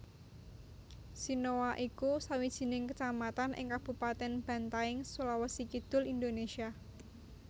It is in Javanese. Sinoa iku sawijining kecamatan ing Kabupaten Bantaeng Sulawesi Kidul Indonesia